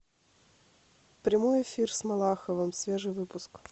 прямой эфир с малаховым свежий выпуск